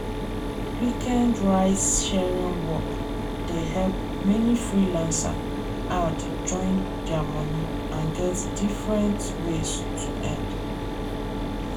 weekend ride sharing work dey help many freelancer add join their money and get different ways to end.